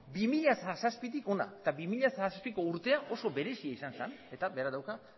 bi mila zazpitik hona eta bi mila zazpiko urtea oso berezia izan zen eta berak dauka